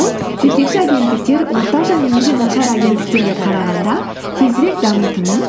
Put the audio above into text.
ол жетекші агенттіктер орташа немесе нашар агенттіктерге қарағанда тезірек дамитынын